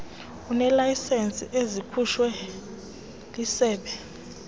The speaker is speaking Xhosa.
ineelayisenisi ezikhutshwe lisebe